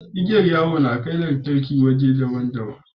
Igiyar yawo na kai lantarki waje daban daban